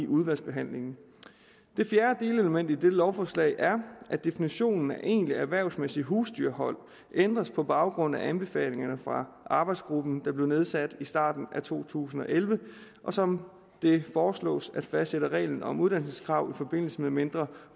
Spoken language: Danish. udvalgsbehandlingen det fjerde delelement i dette lovforslag er at definitionen af egentligt erhvervsmæssigt husdyrhold ændres på baggrund af anbefalingerne fra arbejdsgruppen der blev nedsat i starten af to tusind og elleve og som det foreslås at fastsætte regler om uddannelseskrav i forbindelse med mindre